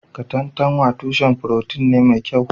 Katantanwa tushen furotin ne mai kyau